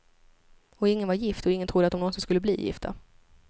Och ingen var gift, och ingen trodde att de någonsin skulle bli gifta.